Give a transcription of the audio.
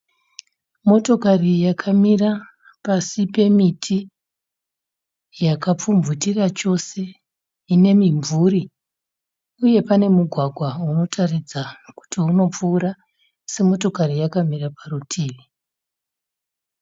Motokari yakamira pasi pemiti yakapfumvutira chose ine mimvuri uye pane mugwagwa unotaridza kuti unopfuura asi motokati yakamira parutivi.